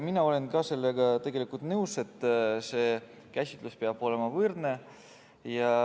Ma olen ka sellega nõus, et see käsitlus peab olema võrdne.